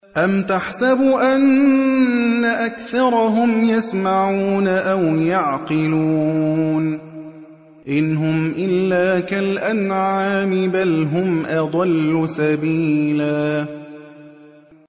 أَمْ تَحْسَبُ أَنَّ أَكْثَرَهُمْ يَسْمَعُونَ أَوْ يَعْقِلُونَ ۚ إِنْ هُمْ إِلَّا كَالْأَنْعَامِ ۖ بَلْ هُمْ أَضَلُّ سَبِيلًا